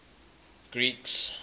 greeks